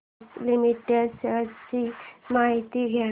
Bosch limited shares ची माहिती द्या